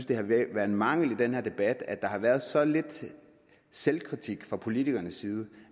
det har været en mangel i den her debat at der har været så lidt selvkritik fra politikernes side